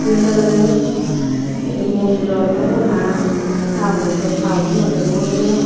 iyen olodey ey mondirot obow na townot obow town holot obow hobor nopangor.